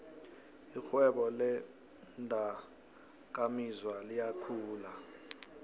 irhwebo leendakamizwa liyakhula